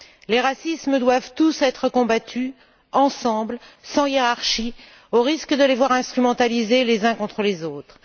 Les racismes doivent tous être combattus ensemble, sans hiérarchie, au risque de les voir instrumentaliser les uns contre les autres.